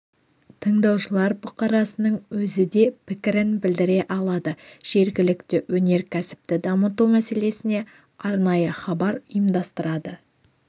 тыңдаушылар бұқарасының өзі де пікірін білдіре алады жергілікті өнеркәсіпті дамыту мәселесіне арнайы хабар ұйымдастырады